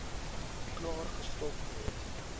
klaar gestop gewees